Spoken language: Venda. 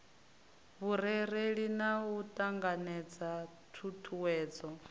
vhurereli na u ṱanganedza ṱhuṱhuwedzo